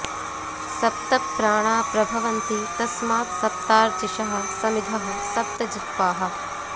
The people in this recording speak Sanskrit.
सप्त प्राणा प्रभवन्ति तस्मात् सप्तार्चिषः समिधः सप्त जिह्वाः